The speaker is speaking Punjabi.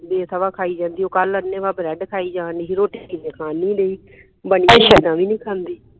ਬੇਸਵਾ ਖਾਈ ਜਾਂਦੀਉ ਕੱਲ ਅੰਨ੍ਹੇ ਵਾਹ ਬ੍ਰੈਡ ਖਾਇ ਜਾਣ ਡੀ ਸੀ ਰੋਟੀ ਤੇ ਮੈਂ ਖਾਣ ਨਹੀਂ ਢਈ ਜਵਾਂ ਹੀ ਨਹੀਂ ਖਾਂਦੀ